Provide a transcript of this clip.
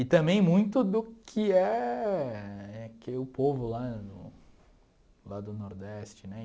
E também muito do que é... Que é o povo lá no... Lá do Nordeste, né?